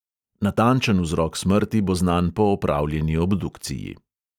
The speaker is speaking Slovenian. Natančen vzrok smrti bo znan po opravljeni obdukciji.